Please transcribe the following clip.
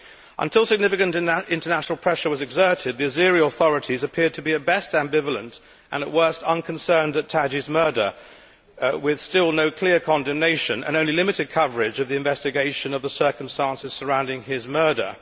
Until significant international pressure was exerted, the Azeri authorities appeared to be at best ambivalent and at worst unconcerned at Taqi's murder, with still no clear condemnation and only limited coverage of the investigation of the circumstances surrounding his murder.